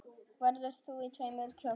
Verður þú í tveimur kjólum?